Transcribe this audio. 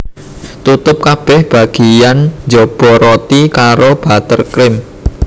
Tutup kabeh bagiyan njaba roti karo butter cream